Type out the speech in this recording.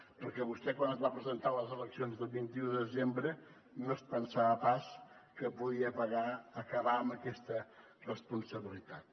perquè vostè quan es va presentar a les eleccions del vint un de desembre no es pensava pas que podia acabar amb aquesta responsabilitat